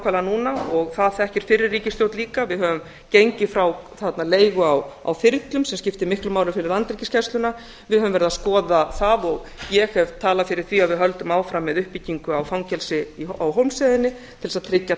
nákvæmlega núna og það þekkir fyrri ríkisstjórn líka við höfum gengið frá leigu á þyrlum sem skiptir miklu máli fyrir landhelgisgæsluna við höfum leið að skoða það og ég hef talað fyrir því að við höldum áfram við uppbyggingu á fangelsi á hólmsheiðinni til að tryggja